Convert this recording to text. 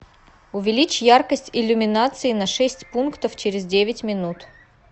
увеличь яркость иллюминации на шесть пунктов через девять минут